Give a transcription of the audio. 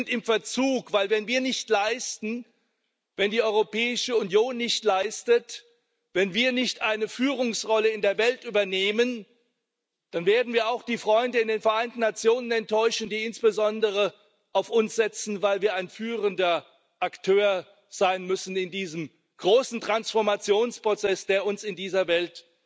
Wir sind im Verzug, denn wenn wir nicht liefern, wenn die Europäische Union nicht liefert, wenn wir nicht eine Führungsrolle in der Welt übernehmen, dann werden wir auch die Freunde in den Vereinten Nationen enttäuschen, die insbesondere auf uns setzen, weil wir ein führender Akteur sein müssen in diesem großen Transformationsprozess, der uns in dieser Welt